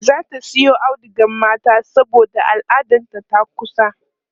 zata Sayo audugar mata saboda al'adar ta takusa